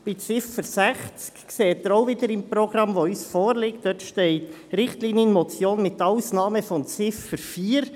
Beim Traktandum sehen Sie wiederum im Programm, das uns vorliegt, dass dort «Richtlinienmotion mit Ausnahme von Ziffer 4» steht.